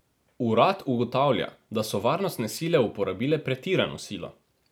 Urad ugotavlja, da so varnostne sile uporabile pretirano silo.